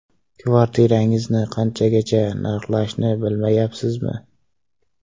Kvartirangizni qanchaga narxlashni bilmayapsizmi?